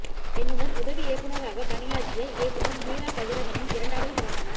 என்னுடன் உதவி இயக்குநராக பணியாற்றிய இயக்குநர் மீரா கதிரவனின் இரண்டாவது படமான